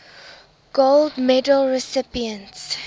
gold medal recipients